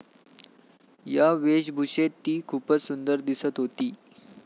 या वेशभुषेत ती खूपच सुंदर दिसत होती.